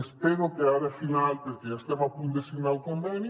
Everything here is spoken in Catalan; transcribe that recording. espero que ara al final perquè ja estem a punt de signar el conveni